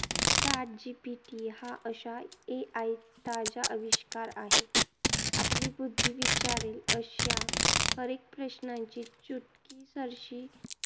Chat GPT हा अशा AI ताजा अविष्कार आहे. आपली बुद्धी विचारेल अशा हरएक प्रश्नांची चुटकीसरशी